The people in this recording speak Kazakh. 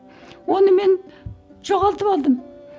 оны мен жоғалтып алдым